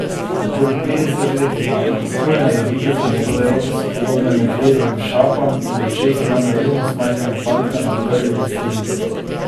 Okoli petdeset let ima, utrujenega videza, njegove roke so podobne medvedovim šapam in v očeh ima naivnost majhnega fantka na prvi veselici.